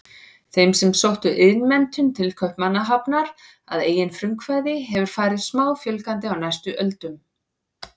Þeim sem sóttu iðnmenntun til Kaupmannahafnar að eigin frumkvæði hefur farið smáfjölgandi á næstu öldum.